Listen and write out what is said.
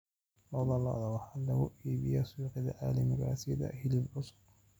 Lo'da lo'da waxaa lagu iibiyaa suuqyada caalamiga ah sidii hilib cusub.